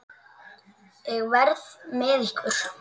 Ég verð með ykkur.